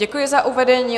Děkuji za uvedení.